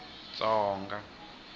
tsonga